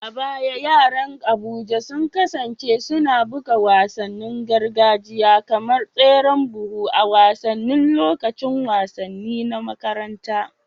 A baya yaran Abuja sun kasance suna buga wasannin gargajiya kamar tseren buhu a wasannin lokacin wasanni na makaranta